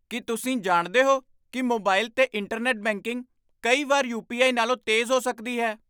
ਕੀ ਤੁਸੀਂ ਜਾਣਦੇ ਹੋ ਕਿ ਮੋਬਾਈਲ 'ਤੇ ਇੰਟਰਨੈੱਟ ਬੈਂਕਿੰਗ ਕਈ ਵਾਰ ਯੂ. ਪੀ. ਆਈ. ਨਾਲੋਂ ਤੇਜ਼ ਹੋ ਸਕਦੀ ਹੈ?